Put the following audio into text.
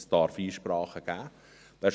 Es darf Einsprachen geben.